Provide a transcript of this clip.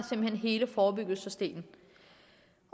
hele forebyggelsesdelen